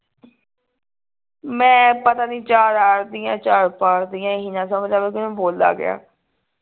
ਮੈਂ ਪਤਾ ਨਹੀਂ ਚਾਰ ਆਰ ਦੀਆਂ ਚਾਰ ਪਾਰ ਦੀਆਂ ਇਹੀ ਨਾ ਸਮਝ ਆਵੇ ਕੇ ਮੈਂ ਬੋਲਾਂ ਕਿਆ